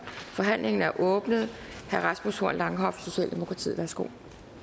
forhandlingen er åbnet herre rasmus horn langhoff socialdemokratiet værsgo